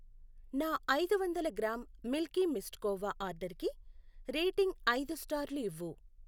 నా ఐదు వందల గ్రాం మిల్కీ మిస్ట్ కోవా ఆర్డరుకి రేటింగ్ ఐదు స్టార్లు ఇవ్వు.